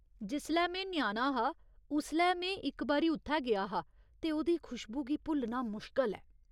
जिसलै में ञ्याणा हा उसलै में इक बारी उत्थै गेआ हा ते ओह्दी खुशबू गी भुल्लना मुश्कल ऐ।